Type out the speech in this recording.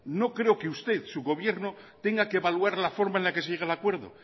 no creo que usted su gobierno tenga que evaluar la forma en la que se llega el acuerdo